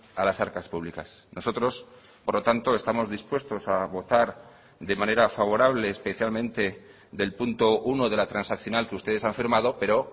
a las arcas públicas nosotros por lo tanto estamos dispuestos a votar de manera favorable especialmente del punto uno de la transaccional que ustedes han firmado pero